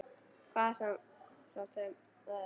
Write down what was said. Hvað svo sem það er.